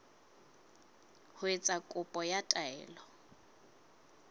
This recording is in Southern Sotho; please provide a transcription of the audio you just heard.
ho etsa kopo ya taelo